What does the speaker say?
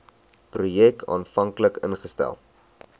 projek aanvanklik ingestel